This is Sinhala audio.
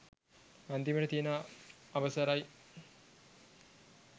අන්තිමට තියන අවසරයි